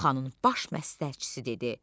Xanın baş məsləhətçisi dedi: